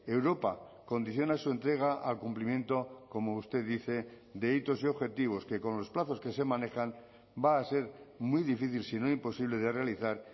europa condiciona su entrega al cumplimiento como usted dice de hitos y objetivos que con los plazos que se manejan va a ser muy difícil si no imposible de realizar